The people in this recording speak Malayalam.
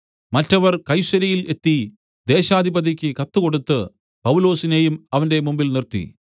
മറ്റവർ കൈസര്യയിൽ എത്തി ദേശാധിപതിക്ക് കത്ത് കൊടുത്ത് പൗലൊസിനെയും അവന്റെ മുമ്പിൽ നിർത്തി